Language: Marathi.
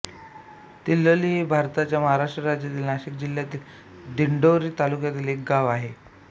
तिल्लोळी हे भारताच्या महाराष्ट्र राज्यातील नाशिक जिल्ह्यातील दिंडोरी तालुक्यातील एक गाव आहे